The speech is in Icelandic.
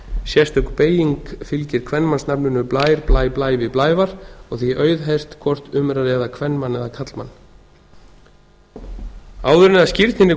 sérstök beyging fylgir kvenmannsnafninu blær blæ blævi blævar og því auðheyrt hvort um er að ræða kvenmann eða karlmann áður en að skírninni